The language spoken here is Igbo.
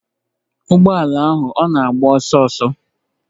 Ụgbọ ala ahụ ọ na-agba ọsọ?